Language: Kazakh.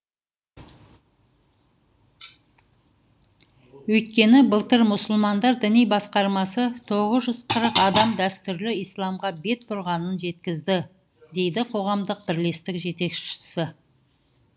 өйткені былтыр мұсылмандар діни басқармасы тоғыз жүз қырық адам дәстүрлі исламға бет бұрғанын жеткізді дейді қоғамдық бірлестік жетекшісі